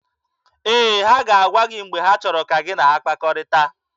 Ee, ha ga-agwa gị mgbe ha chọrọ ka gị na ha kpakọrịta.